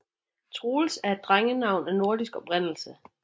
Troels er et drengenavn af nordisk oprindelse